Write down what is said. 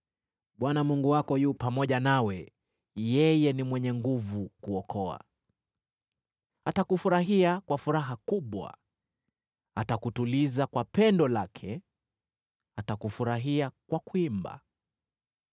Bwana Mungu wako yu pamoja nawe, yeye ni mwenye nguvu kuokoa. Atakufurahia kwa furaha kubwa, atakutuliza kwa pendo lake, atakufurahia kwa kuimba.”